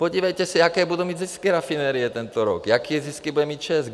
Podívejte se, jaké budou mít zisky rafinerie tento rok, jaké zisky bude mít ČEZ!